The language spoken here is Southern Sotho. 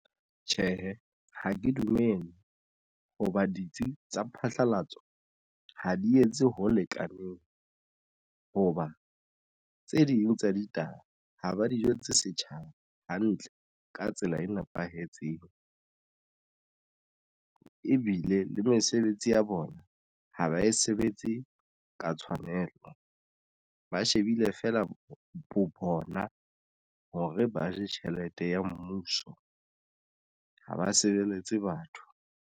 Tjhehe, ha ke dumele hoba ditsi tsa phatlalatso ha di etse ho lekaneng hoba tse ding tsa ditaba ha ba dijo tse setjhaba hantle ka tsela e nepahetseng ebile le mesebetsi ya bona ha ba e sebetse ka tshwanelo ba shebile fela ho bona hore ba je tjhelete ya mmuso ha ba sebeletse batho.